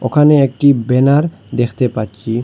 ওখানে একটি ব্যানার দেখতে পাচ্ছি।